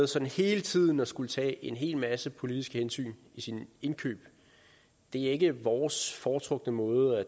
sådan hele tiden skal tage en hel masse politiske hensyn i sine indkøb er ikke vores foretrukne måde